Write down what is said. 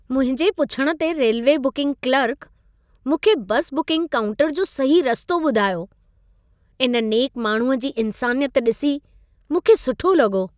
मुंहिंजे पुछण ते रेलवे बुकिंग क्लर्क, मूंखे बसि बुकिंग काउंटर जो सही रस्तो ॿुधायो। इन नेक माण्हूअ जी इंसानियत ॾिसी मूंखे सुठो लॻो।